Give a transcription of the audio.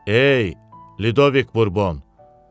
Ey Lidoviq Burbon!